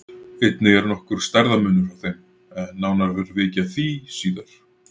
Einnig er nokkur stærðarmunur á þeim en nánar verður vikið að því síðar.